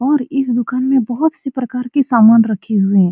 और इस दुकान में बहोत सी प्रकार की सामान रखी हुई है।